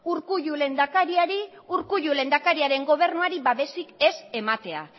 urkullu lehendakariaren gobernuari babesik ez ematea